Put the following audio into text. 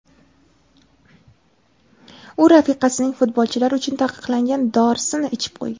U rafiqasining futbolchilar uchun taqiqlangan dorisini ichib qo‘ygan.